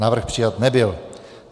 Návrh přijat nebyl.